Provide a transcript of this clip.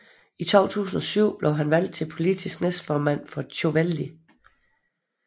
I 2007 blev han valgt til politisk næstformand for Tjóðveldi